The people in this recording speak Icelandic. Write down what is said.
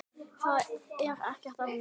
Það er ekkert að mér!